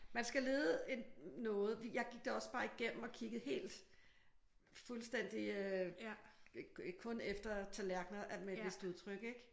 Man skal lede en noget. Jeg gik det også bare igennem og kiggede helt fuldstændigt øh kun efter tallerkener med et vist udtryk ik?